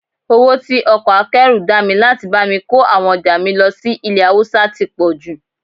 Owó tí ọkọ̀ akẹ́rù dá mi láti bá mi kó àwọn ọjà mi lọ sí ilẹ̀ Haúsá tí pọ̀jù